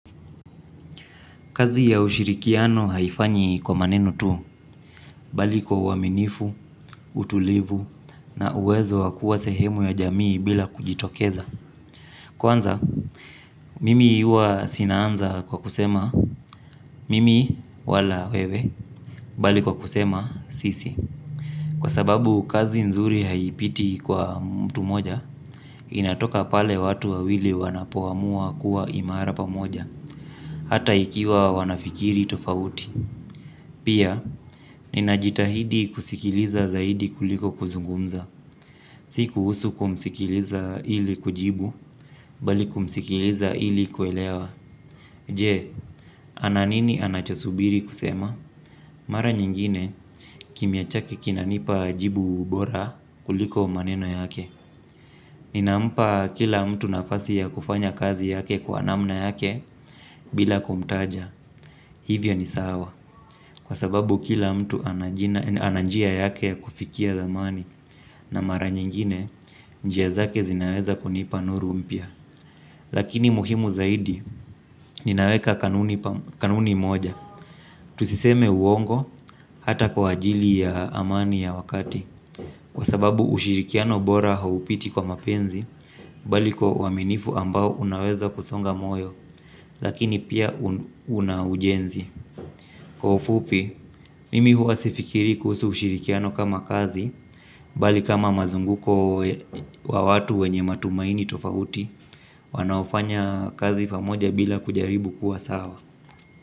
Kazi ya ushirikiano haifanyi kwa maneno tu, bali kwa uaminifu, utulivu, na uwezo wakua sehemu ya jamii bila kujitokeza. Kwanza, mimi huwa sinaanza kwa kusema, mimi wala wewe, bali kwa kusema, sisi. Kwa sababu kazi nzuri haipiti kwa mtu mmoja, inatoka pale watu wawili wanapoamua kuwa imarapa moja, hata ikiwa wanafikiri tofauti. Pia, ninajitahidi kusikiliza zaidi kuliko kuzungumza. Siku husu kumsikiliza ili kujibu, bali kumsikiliza ili kuelewa. Je, ananini anachosubiri kusema? Mara nyingine, kimia chake kinanipa jibu bora kuliko maneno yake. Ninampa kila mtu nafasi ya kufanya kazi yake kwa namna yake bila kumtaja. Hivyo ni sawa, kwa sababu kila mtu ananjia yake ya kufikia dhamani na mara nyingine, njia zake zinaweza kunipa nuru mpya. Lakini muhimu zaidi, ninaweka kanuni moja. Tusiseme uongo hata kwa ajili ya amani ya wakati. Kwa sababu ushirikiano bora haupiti kwa mapenzi, balikwau aminifu ambao unaweza kusonga moyo, lakini pia unaujenzi. Kwaufupi, mimi hua sifikiri kuhusu ushirikiano kama kazi, bali kama mazunguko wa watu wenye matumaini tofauti, wanaofanya kazi pamoja bila kujaribu kuwa sawa.